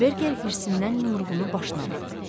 Berker hirsindən yumruğunu başına vurdu.